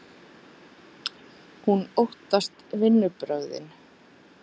Hún óttast viðbrögðin.